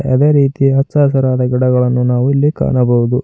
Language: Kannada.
ಅದೇ ರೀತಿ ಹಚ್ಚ ಹಸಿರಾದ ಗಿಡಗಳನ್ನು ನಾವಿಲ್ಲಿ ಕಾಣಬಹುದು.